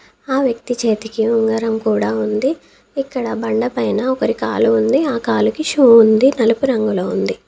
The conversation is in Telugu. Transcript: ఆ వ్యక్తి చేతికి ఉంగరం కుడా ఉంది. ఇక్కడ బండపైన ఒకరి కాలు ఉంది ఆ కాలికి షూ ఉంది నలుపు రంగులో ఉంది.